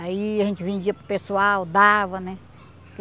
Aí a gente vendia para o pessoal, dava, né?